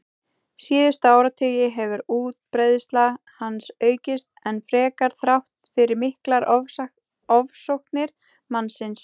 Síðustu áratugi hefur útbreiðsla hans aukist enn frekar þrátt fyrir miklar ofsóknir mannsins.